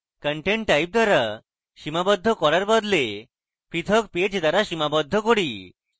content type দ্বারা সীমাবদ্ধ করার বদলে পৃথক page দ্বারা সীমাবদ্ধ করি